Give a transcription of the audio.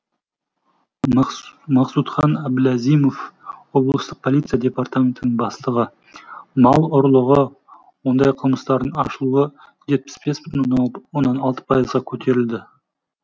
махсудхан аблазимов облыстық полиция департаментінің бастығы мал ұрлығы ондай қылмыстардың ашылуы жетпіс бес бүтін оннан алты пайызға көтерілді